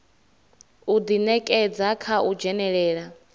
u ḓinekedza kha u dzhenelela